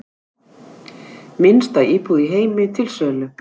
Minnsta íbúð í heimi til sölu